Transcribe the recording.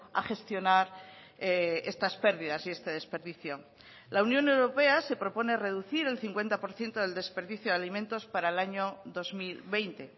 a gestionar estas pérdidas y este desperdicio la unión europea se propone reducir el cincuenta por ciento del desperdicio de alimentos para el año dos mil veinte